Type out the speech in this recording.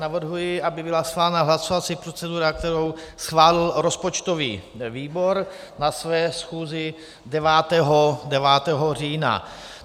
Navrhuji, aby byla schválena hlasovací procedura, kterou schválil rozpočtový výbor na své schůzi 9. října.